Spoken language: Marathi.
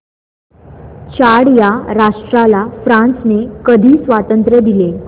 चाड या राष्ट्राला फ्रांसने कधी स्वातंत्र्य दिले